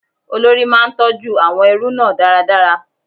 Olórí máa ń tọjú àwọn ẹrú náà dáradára.